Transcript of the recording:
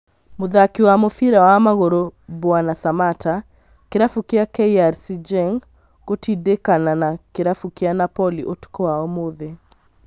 Mũthaki wa mũbĩra wa magũrũ Mbwana Samatta, kĩrabu kĩa KRC Genk gũtindĩkĩkana na kĩrabu kĩa Napoli ũtukũ wa ũmũthĩ